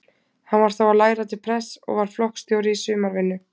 Hann var þá að læra til prests og var flokksstjóri í sumarvinnu.